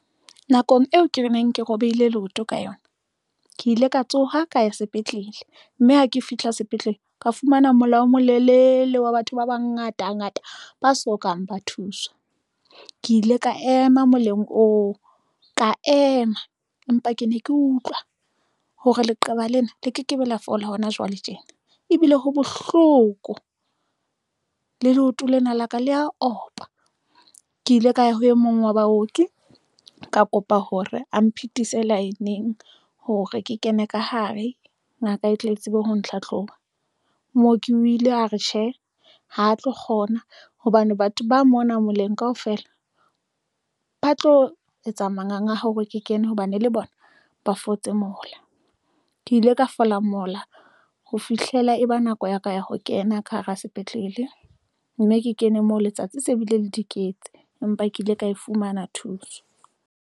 Nakong eo ke neng ke robehile leoto ka yona, ke ile ka tsoha ka ya sepetlele mme ha ke fihla sepetlele, ka fumana mola o molelele wa batho ba bangata ngata ba sokang ba thuswa. Ke ile ka ema moleng oo ka ema empa ke ne ke utlwa hore leqeba lena le ke ke be la fola hona jwale tjena ebile ho bohloko le leoto lena la ka le a opa, ke ile ka ya ho e mong wa baoki. Ka kopa hore a mphe fitise lineng hore ke kene ka hare. Ngaka e tle tsebe ho ntlha tloha moo ke o ile a re tjhe ha tlo kgona hobane batho ba mona moleng kaofela ba tlo etsa manganga hore ke kene, hobane le bona ba fotse mola. Ke ile ka fola mola ho fihlela e ba nako ya ka ya ho kena ka hara sepetlele, mme ke kene moo letsatsi se bile le di kentse, empa ke ile ka e fumana thuso.